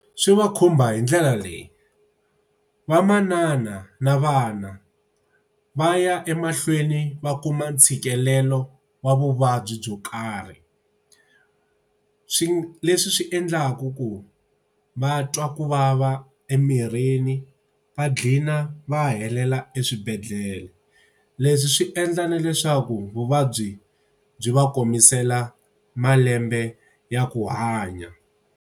Swi va khumba hi ndlela leyi, vamanana na vana va ya emahlweni va kuma ntshikelelo wa vuvabyi byo karhi. Swi leswi swi endlaku ku va twa ku vava emirini va ghina va helela eswibedhlele. Leswi swi endla na leswaku vuvabyi byi va komisela malembe ya ku hanya.